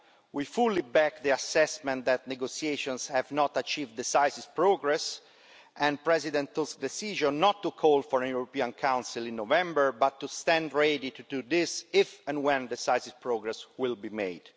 We fully back the assessment that negotiations have not achieved decisive progress and President Tusk's decision not to call for a European Council in November but to stand ready to do this if and when decisive progress is made.